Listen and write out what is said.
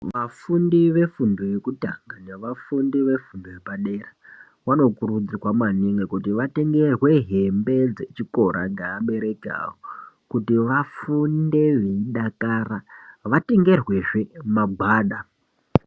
Vafundi vefundo yekutanga nevafundi vefundo yepadera vanokurudzirwa maningi kuti vatengerwe hembe dzechikora nevabereki vavo kuti vafunde veidakara vatengerwezve magwada.